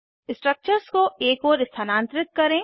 structures को एक ओर स्थनांतरित करें